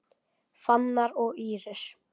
Fannar og Íris.